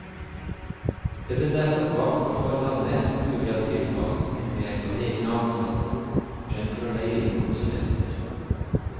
Det ble derfor valgt å foreta mest mulig av tilpasninger ved help av egne ansatte, fremfor å leie inn konsulenter.